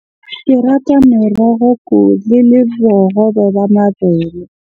Ke rata meroho le bohobe ba mabele.